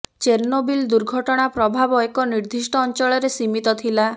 Chernobyl ଦୁର୍ଘଟଣା ପ୍ରଭାବ ଏକ ନିର୍ଦ୍ଦିଷ୍ଟ ଅଂଚଳରେ ସୀମିତ ଥିଲା